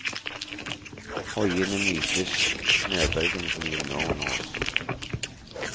Hoiende nytes snøbølgene som gynger under oss.